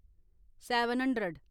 seven hundred